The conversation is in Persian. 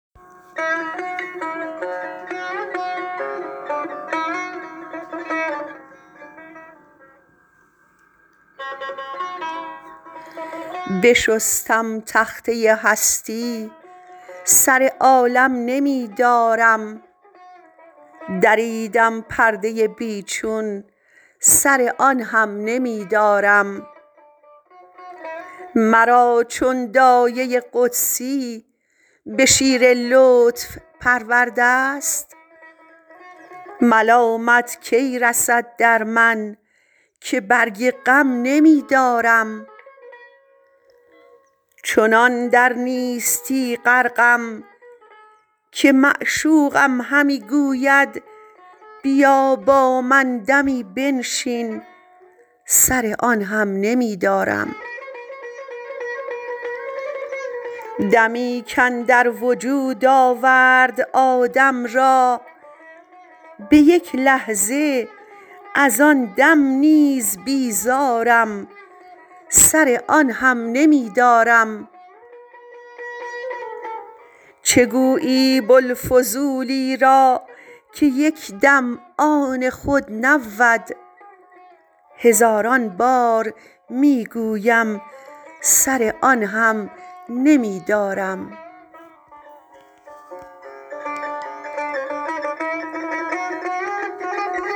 بشستم تخته هستی سر عالم نمی دارم دریدم پرده بی چون سر آن هم نمی دارم مرا چون دایه قدسی به شیر لطف پرورده ست ملامت کی رسد در من که برگ غم نمی دارم چنان در نیستی غرقم که معشوقم همی گوید بیا با من دمی بنشین سر آن هم نمی دارم دمی کاندر وجود آورد آدم را به یک لحظه از آن دم نیز بیزارم سر آن هم نمی دارم چه گویی بوالفضولی را که یک دم آن خود نبود هزاران بار می گوید سر آن هم نمی دارم